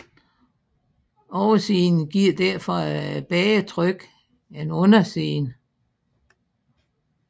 Oversiden giver derfor et bedre tryk en undersiden